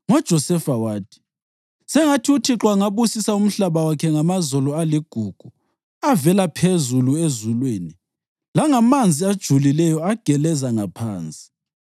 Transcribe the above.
NgoJosefa wathi: “Sengathi uThixo angabusisa umhlaba wakhe ngamazolo aligugu avela phezulu ezulwini langamanzi ajulileyo ageleza ngaphansi;